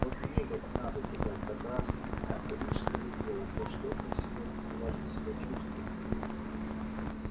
вот мне бы надо туда как раз на рижской дела да что-то сегодня неважно себя чувствую